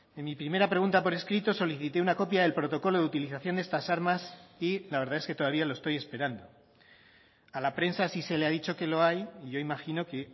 en mi primera pregunta por escrito solicité una copia del protocolo de utilización de estas armas y la verdad es que todavía lo estoy esperando a la prensa sí se le ha dicho que lo hay y yo imagino que